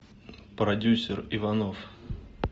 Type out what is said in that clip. продюссер иванов